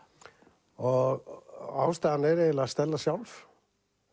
og ástæðan er eiginlega Stella sjálf